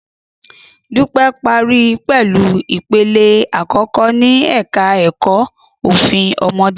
Dúpẹ́ parí pẹ̀lú ipele àkọ́kọ́ ní ẹ̀ka ẹ̀kọ́ ẹ̀kọ́ Òfin Ọmọdé